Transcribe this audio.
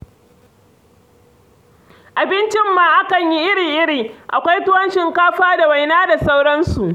Abincin ma akan yi iri-iri, akwai tuwon shinkafa da waina da sauransu.